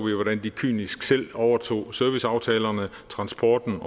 jo hvordan de kynisk selv overtog serviceaftalerne og transporten